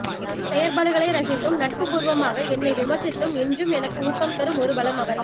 என் செயற்பாடுகளை ரசித்தும் நட்பு பூர்வமாக என்னை விமர்சித்தும் என்றும் எனக்கு ஊக்கம் தரும் ஒரு பலம் அவர்